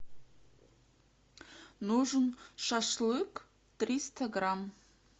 нужен шашлык триста грамм